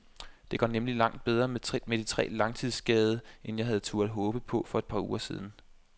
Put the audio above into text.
Det går nemlig langt bedre med de tre langtidsskadede, end jeg havde turde håbe på for et par uger siden.